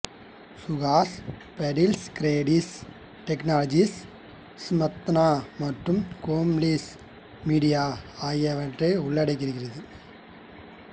சுஹாஸ் பாடில்ஸ் கிரேடில் டெக்னாலஜிஸ் ஸ்மந்தா மற்றும் கோம்லி மீடியா ஆகியவற்றை உள்ளடக்கியிருக்கிறது